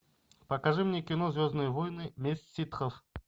покажи мне кино звездные войны месть ситхов